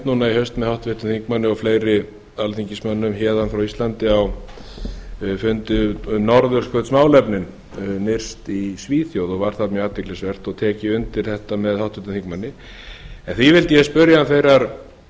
í haust með háttvirtum þingmanni og fleiri alþingismönnum héðan frá íslandi á fundi um norðurskautsmálefnin nyrst í svíþjóð var það mjög athyglisvert og tek ég undir þetta með háttvirtum þingmanni en því vildi ég spyrja hann þeirrar